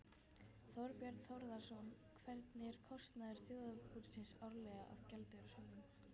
Þorbjörn Þórðarson: Hver er kostnaður þjóðarbúsins árlega af gjaldeyrishöftum?